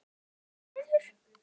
Einn niður?